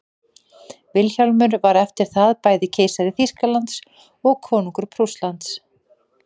vilhjálmur var eftir það bæði keisari þýskalands og konungur prússlands